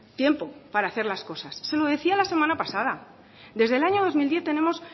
tiempo para hacer las cosas se lo decía la semana pasada desde el año dos mil diez tenemos